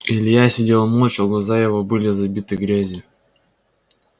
илья сидел молча глаза его были забиты грязью